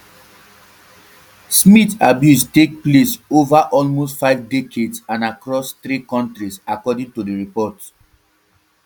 smyth abuse take place take place ova almost five decades and across three kontris according to di report